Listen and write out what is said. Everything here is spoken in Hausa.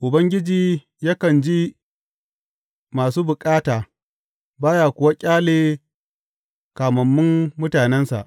Ubangiji yakan ji masu bukata ba ya kuwa ƙyale kamammun mutanensa.